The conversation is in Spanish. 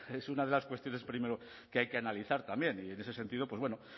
es una de las cuestiones primero que hay que analizar también y en ese sentido